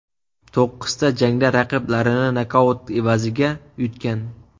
To‘qqizta jangda raqiblarini nokaut evaziga yutgan.